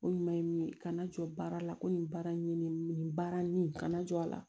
Ko ɲuman ye min ye kana jɔ baara la ko nin baara in ye nin nin baara nin kana jɔ a la